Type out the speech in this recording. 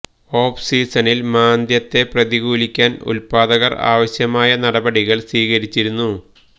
of സീസണില് മാന്ദ്യത്തെ പ്രതികൂലിയ്ക്കാന് ഉല്പ്പാദകര് ആവശ്യമായ നടപടികള് സ്വീകരിച്ചിരുന്നു